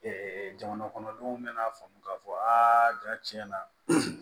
jamana kɔnɔdenw mɛ na faamu ka fɔ aa ja tiɲɛ na